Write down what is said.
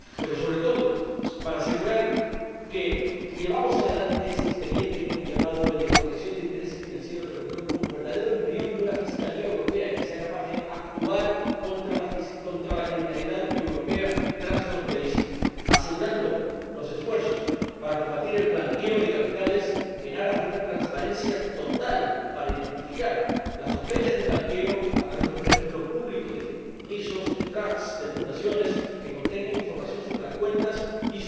y, sobre todo, para asegurar que llevamos adelante ese expediente al que hemos llamado de protección de los intereses financieros de la Unión como verdadero embrión de una Fiscalía europea que sea capaz de actuar contra la criminalidad europea transfronteriza, asegurando los esfuerzos para combatir el blanqueo de capitales en aras de una transparencia total para identificar las sospechas de blanqueo a través de un registro público de fideicomisos, de trusts, de fundaciones que contenga información sobre las cuentas y